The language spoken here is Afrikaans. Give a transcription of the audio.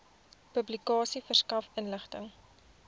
publikasie verskaf inligting